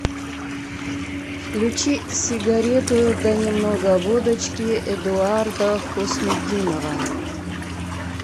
включи сигарету да немного водочки эдуарда хуснутдинова